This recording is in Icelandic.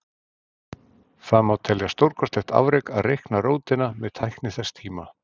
Það má telja stórkostlegt afrek að reikna rótina með tækni þess tíma.